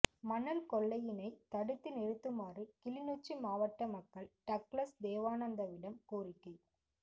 மணல் கொள்ளையினை தடுத்து நிறுத்துமாறு கிளிநொச்சி மாவட்ட மக்கள் டக்ளஸ் தேவானந்தாவிடம் கோரிக்கை